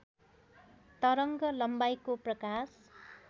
तरङ्ग लम्बाइको प्रकाश